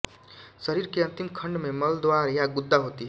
शरीर के अंतिम खंड में मलद्वार या गुदा होती है